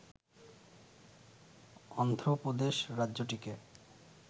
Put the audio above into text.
Andhra Pradesh রাজ্যটিকে